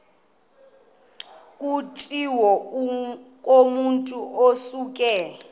kutshiwo kumotu osuke